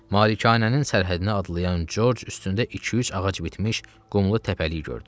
Malikanənin sərhədini adlayan Corc üstündə iki-üç ağac bitmiş qumlu təpəlik gördü.